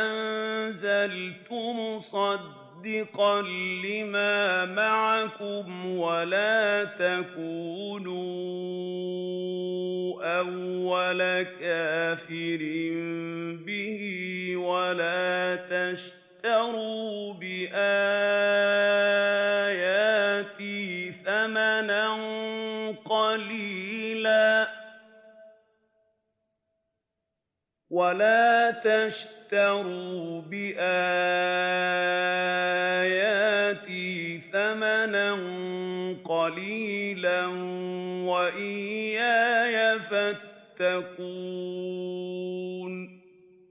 أَنزَلْتُ مُصَدِّقًا لِّمَا مَعَكُمْ وَلَا تَكُونُوا أَوَّلَ كَافِرٍ بِهِ ۖ وَلَا تَشْتَرُوا بِآيَاتِي ثَمَنًا قَلِيلًا وَإِيَّايَ فَاتَّقُونِ